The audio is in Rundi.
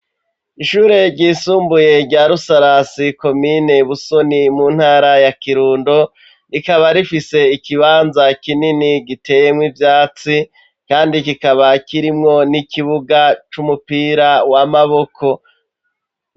Ishure ryisumbuye rya rusarasi, komine busoni mu ntara ya kirundo ,rikaba rifise ikibanza kinini giteyemwo ivyatsi ,kandi kikaba kirimwo n'ikibuga c'umupira w'amaboko.